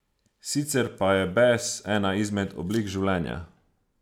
Sicer pa je bes ena izmed oblik življenja.